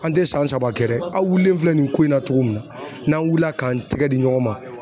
An tɛ san saba kɛ dɛ aw wulilen filɛ nin ko in na cogo min na n'an wulila k'an tɛgɛ di ɲɔgɔn ma.